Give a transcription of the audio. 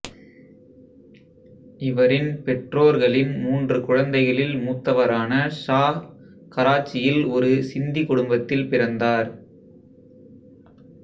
இவரின் பெற்றோர்களின் மூன்று குழந்தைகளில் மூத்தவரான ஷா கராச்சியில் ஒரு சிந்தி குடும்பத்தில் பிறந்தார்